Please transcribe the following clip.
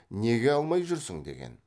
неге алмай жүрсің деген